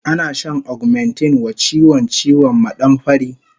Ana shan augmentin wa chiwon ciwon maɗamfari